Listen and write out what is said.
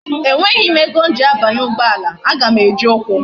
E nweghi ego m ji abanye ugboala, a ga m eji ukwu